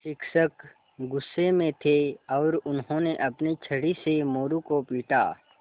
शिक्षक गुस्से में थे और उन्होंने अपनी छड़ी से मोरू को पीटा